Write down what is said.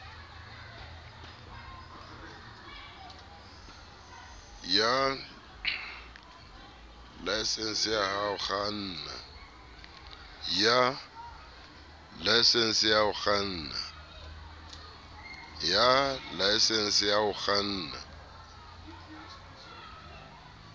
ya laesense ya ho kganna